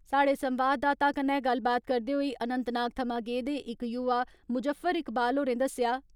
साहड़े संवाददाता कन्नै गल्लबात करदे होई अनन्तनाग थमां गेदे इक युवा मुज़फर इकवाल होरें दस्सेआ।